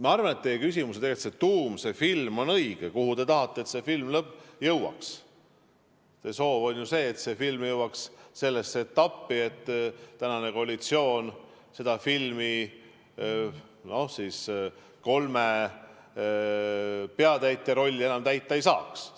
Ma arvan, et see on teie küsimuse tuum: te tahate, et see film jõuaks sellesse etappi, et tänane koalitsioon kolme peaosatäitja rolli enam täita ei saaks.